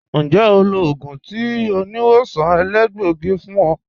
Ǹjẹ́ ó lọ̀ ogun tì oníwọ̀sàn èlẹgbọ̀gí fún ọ?